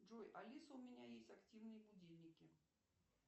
джой алиса у меня есть активные будильники